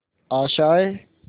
आशाएं